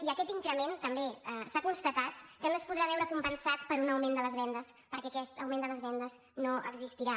i aquest increment també s’ha constatat que no es podrà veure compensat per un augment de les vendes perquè aquest augment de les vendes no existirà